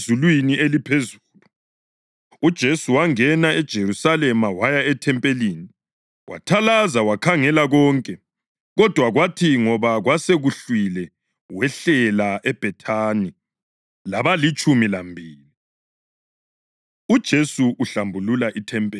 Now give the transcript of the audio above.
UJesu wangena eJerusalema waya ethempelini. Wathalaza wakhangela konke, kodwa kwathi ngoba kwasekuhlwile wehlela eBhethani labalitshumi lambili. UJesu Uhlambulula IThempeli